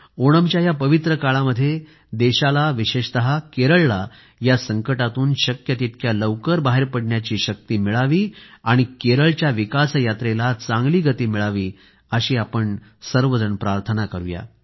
ओणमच्या या पवित्र काळामध्ये देशाला विशेषतः केरळला या संकटातून शक्य तितक्या लवकर बाहेर पडण्याची शक्ती मिळावी आणि केरळच्या विकासयात्रेला चांगली गती मिळावी अशी आपण प्रार्थना करूया